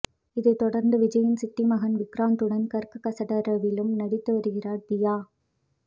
இதைத் தொடர்ந்து விஜய்யின் சித்தி மகன் விக்ராந்துடன் கற்க கசடறவிலும் நடித்து வருகிறார் தியா